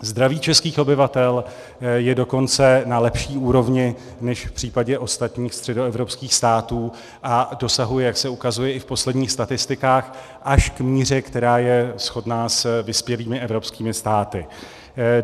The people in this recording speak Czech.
Zdraví českých obyvatel je dokonce na lepší úrovni než v případě ostatních středoevropských států a dosahuje, jak se ukazuje i v posledních statistikách, až k míře, která je shodná s vyspělými evropskými státy.